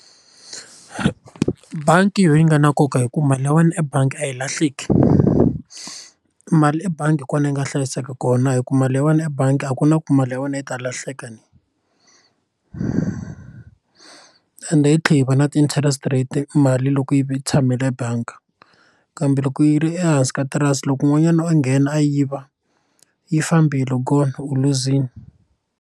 Bangi yi nga na nkoka hi ku mali ya wena ebangi a yi lahleki mali ebangi hi kona yi nga hlayiseka kona hi ku mali ta wena ebangi a ku na ku mali ya wena yi ta lahleka ende yi tlhela yi va na ti interest rate mali loko yi ve tshamile bangi kambe loko yi ri ehansi ka tirasi loko un'wanyana a nghena a yiva yi fambile gone u luzile.